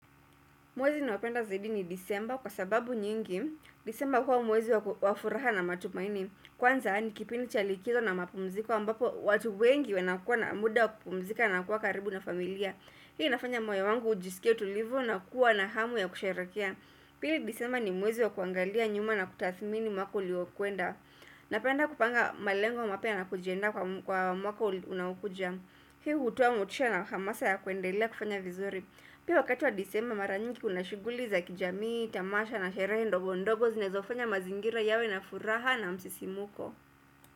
Mwezi ninaopenda zaidi ni disemba kwa sababu nyingi disemba huwa mwezi wa furaha na matumaini Kwanza ni kipindi cha likizo na mapumziko ambapo watu wengi wanakua na muda wa kupumzika na kuwa karibu na familia Hii nafanya moyo wangu ujisikie tulivu na kuwa na hamu ya kusherehekea Pili disemba ni mwezi wa kuangalia nyuma na kutathmini mwaka uliokwenda Napenda kupanga malengo mapya na kujiandaa kwa mwaka unaokuja Hii hutuwa motisha na hamasa ya kuendelea kufanya vizuri Pia wakati wa disema mara nyiki kuna shughuli za kijamii, tamasha na sherehe ndogo ndogo zinazofanya mazingira yawe na furaha na msisimuko.